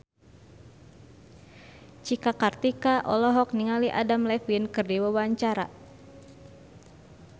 Cika Kartika olohok ningali Adam Levine keur diwawancara